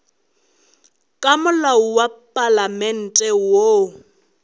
ka molao wa palamente woo